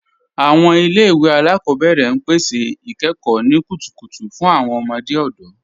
Awọn ilẹ̀-iwe alákọbẹ̀rẹ̀ n pẹ̀sẹ̀ ikẹ́kọ̀ ni kútùkùtù fún awọn ọmọdé ọdọ.